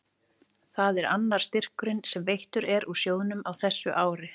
Þetta er annar styrkurinn sem veittur er úr sjóðnum á þessu ári.